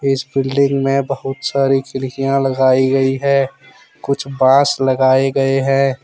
इस बिल्डिंग में बहुत सारी खिड़कियां लगाई गई है कुछ बांस लगाए गए हैं।